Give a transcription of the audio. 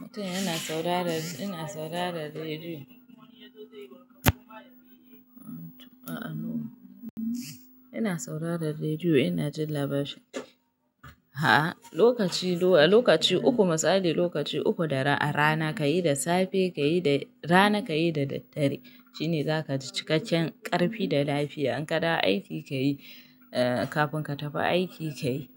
Mutum yana saurara, ina saurara rediyo. A'a, no. Ina saurara rediyo, ina jin labarai. A'a, lokaci uku, misali lokaci uku da rana ka yi, da safe ka yi, rana ka yi da daddare shine za ka ji cikakken ƙarfi da lafiya. In ka da aiki ka yi, kafin ka tafi aiki ka yi.